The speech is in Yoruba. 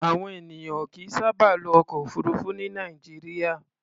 Àwọn ènìyàn ò kìí sábà lo ọkọ̀-òfurufú ní Nàìjíríà.